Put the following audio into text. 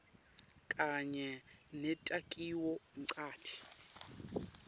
kanye netakhiwo ncanti